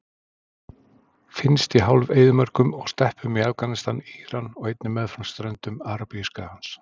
Finnst í hálf-eyðimörkum og steppum í Afganistan, Íran og einnig meðfram ströndum Arabíuskagans.